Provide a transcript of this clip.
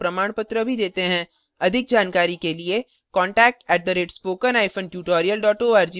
अधिक जानकारी के लिए contact @spokentutorial org पर लिखें